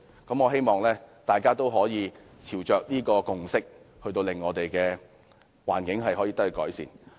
我希望大家都可以朝着這個共識，令我們的環境得以改善。